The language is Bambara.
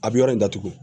A bɛ yɔrɔ in datugu